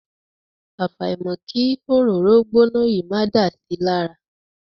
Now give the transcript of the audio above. Àfàìmọ̀ kí òróró gbóná yìí máa dà si lára.